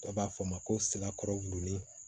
Dɔ b'a fɔ ma ko sira kɔrɔ gurunin